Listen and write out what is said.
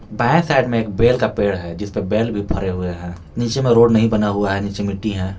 दाएं साइड में एक बेल का पेड़ है जिस पे बेल भी भरे हुए हैं नीचे में रोड नहीं बना हुआ है नीचे मिट्टी है।